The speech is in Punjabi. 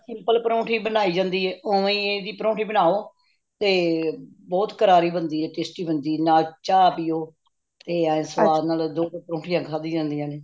ਜਿਵੇਂ simple ਪਰੌਂਠੀ ਬਣਾਈ ਜਾਂਦੀ ਹੈ ਓਵੇਂ ਹੀ ਏਦੀ ਪਰੌਂਠੀ ਬਣਾਓ ਤੇ ਬਹੁਤ ਕਰਾਰੀ ਬੰਦੀ ਹੈ ਤੇ tasty ਬੰਦੀਏ ਨਾਲ ਚ ਪੀਲੋ ਤੇ ਏਹ ਸਵਾਦ ਨਾਲ ਦੋ ਪਰੌਂਠਿਆਂ ਖਾਦੀਆਂ ਜਾਂਦੀਆਂ ਨੇ